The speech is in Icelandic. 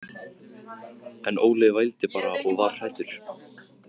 En Óli vældi bara og var hræddur.